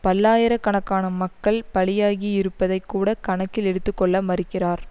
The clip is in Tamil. பல்லாயிர கணக்கான மக்கள் பலியாகி இருப்பதை கூட கணக்கில் எடுத்து கொள்ள மறுக்கிறார்